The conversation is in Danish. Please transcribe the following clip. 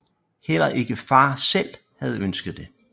Heller ikke far selv havde ønsket det